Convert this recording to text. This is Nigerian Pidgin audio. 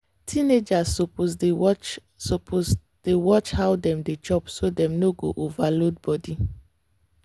teenagers suppose dey watch suppose dey watch how dem dey chop so dem no go overload body.